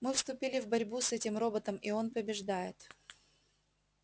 мы вступили в борьбу с этим роботом и он побеждает